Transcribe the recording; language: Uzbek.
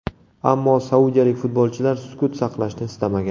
Ammo saudiyalik futbolchilar sukut saqlashni istamagan.